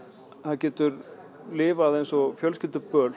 getur lifað eins og